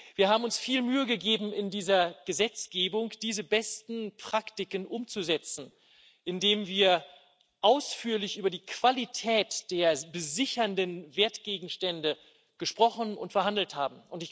Wir haben uns viel Mühe gegeben, in dieser Gesetzgebung diese besten Praktiken umzusetzen, indem wir ausführlich über die Qualität der besichernden Wertgegenstände gesprochen und verhandelt haben.